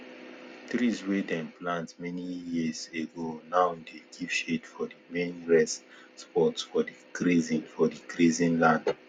trees wey dem plant many years ago now dey give shade for the main rest spot for the grazing for the grazing land